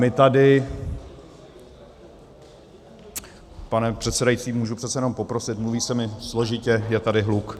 My tady - pane předsedající, můžu přece jenom poprosit, mluví se mi složitě, je tady hluk.